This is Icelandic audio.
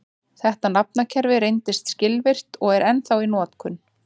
Þetta nafnakerfi reyndist skilvirkt og er ennþá í notkun.